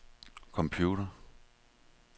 computer